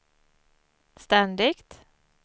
ständigt